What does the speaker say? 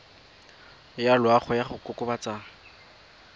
ya loago ya go kokobatsa